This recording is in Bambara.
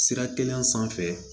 Sira kelen sanfɛ